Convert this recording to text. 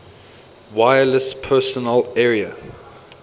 wireless personal area